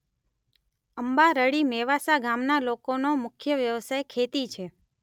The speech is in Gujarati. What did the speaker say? અંબારડી મેવાસા ગામના લોકોનો મુખ્ય વ્યવસાય ખેતી છે.